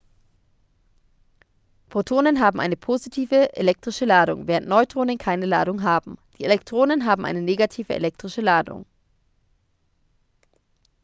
protonen haben eine positive elektrische ladung während neutronen keine ladung haben die elektronen haben eine negative elektrische ladung